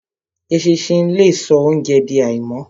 Eṣinṣin le so óunjẹ di àìmọ́.